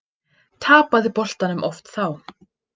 Tapaði boltanum oft þá.